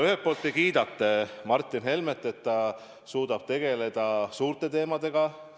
Ühelt poolt te kiidate Martin Helmet, et ta suudab tegeleda suurte teemadega.